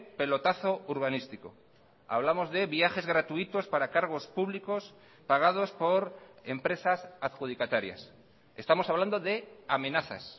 pelotazo urbanístico hablamos de viajes gratuitos para cargos públicos pagados por empresas adjudicatarias estamos hablando de amenazas